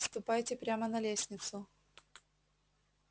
ступайте прямо на лестницу